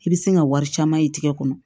I bɛ se ka wari caman ye tigɛ kɔnɔ